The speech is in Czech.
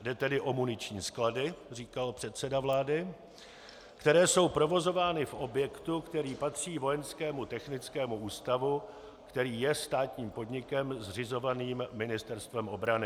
Jde tedy o muniční sklady, říkal předseda vlády, které jsou provozovány v objektu, který patří Vojenskému technickému ústavu, který je státním podnikem zřizovaným Ministerstvem obrany.